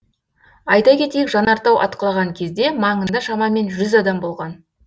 айта кетейік жанартау атқылаған кезде маңында шамамен жүз адам болған